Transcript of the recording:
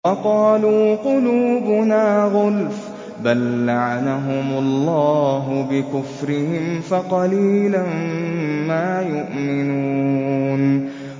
وَقَالُوا قُلُوبُنَا غُلْفٌ ۚ بَل لَّعَنَهُمُ اللَّهُ بِكُفْرِهِمْ فَقَلِيلًا مَّا يُؤْمِنُونَ